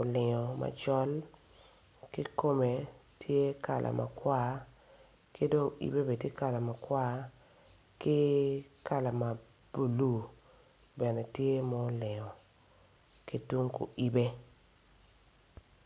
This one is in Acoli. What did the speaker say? olingo macol ki kome tye kala makwar ki dong yibe bene tye kala makwar ki kala ma bulu bene tye ma olingo ki ku yibe